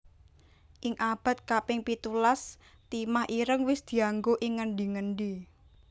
Ing abad kaping pitulas timah ireng wis dianggo ing ngendi endi